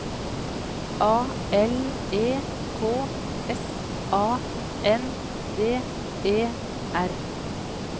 A L E K S A N D E R